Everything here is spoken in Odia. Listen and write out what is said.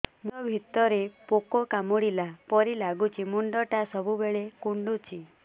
ମୁଣ୍ଡ ଭିତରେ ପୁକ କାମୁଡ଼ିଲା ପରି ଲାଗୁଛି ମୁଣ୍ଡ ଟା ସବୁବେଳେ କୁଣ୍ଡୁଚି